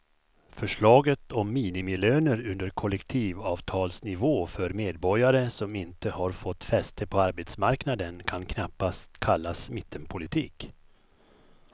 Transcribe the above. Förslaget om minimilöner under kollektivavtalsnivå för medborgare som inte har fått fäste på arbetsmarknaden kan knappast kallas mittenpolitik.